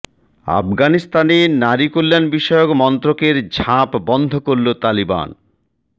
আফগানিস্তানে নারী কল্যাণ বিষয়ক মন্ত্রকের ঝাপ বন্ধ করল তালিবান